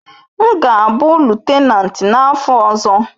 M ga-abụ lutenanti n'afọ ọzọ.